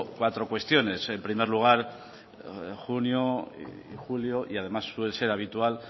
cuatro cuestiones el primer lugar junio y julio y además suele ser habitual